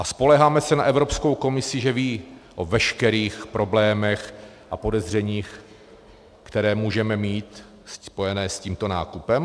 A spoléháme se na Evropskou komisi, že ví o veškerých problémech a podezřeních, které můžeme mít spojené s tímto nákupem?